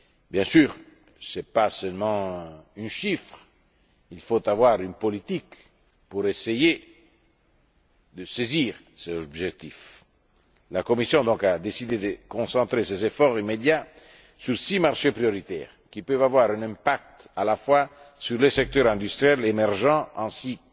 Bien sûr, ce n'est pas seulement un chiffre, il faut disposer d'une politique pour essayer de parvenir à cet objectif. La Commission a donc décidé de concentrer ses efforts immédiats sur six marchés prioritaires, qui peuvent avoir un impact à la fois sur les secteurs industriels